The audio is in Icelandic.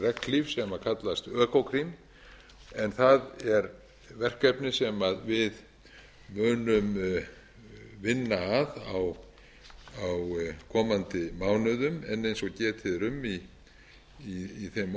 undir regnhlíf sem kallast økokrim en það er verkefni sem við munum vinna að á komandi mánuðum en eins og getið er um í þeim orðum sem